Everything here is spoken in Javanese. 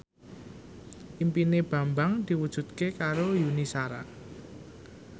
impine Bambang diwujudke karo Yuni Shara